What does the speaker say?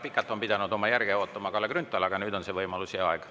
Pikalt on pidanud oma järge ootama Kalle Grünthal, aga nüüd on teil see võimalus ja aeg.